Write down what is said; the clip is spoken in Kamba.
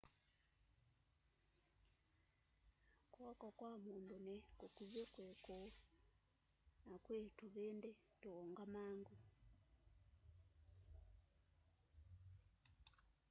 kw'oko kwa mundu ni kukuvi kwi kuu na kwii tuvindi tuungamangu